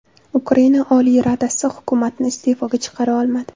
Ukraina Oliy Radasi hukumatni iste’foga chiqara olmadi.